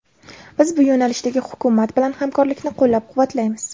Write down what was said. Biz bu yo‘nalishdagi hukumat bilan hamkorlikni qo‘llab-quvvatlaymiz.